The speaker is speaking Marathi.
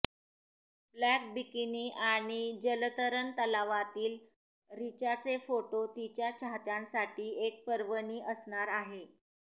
ब्लॅक बिकिनी आणि जलतरण तलावातील रिचाचे फोटो तिच्या चाहत्यांसाठी एक पर्वणी असणार आहे